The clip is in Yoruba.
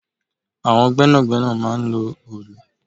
Àwọn gbẹ́nàgbẹ́nà máa ń lò òòlù